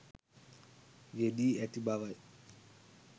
යෙදී ඇති බවයි.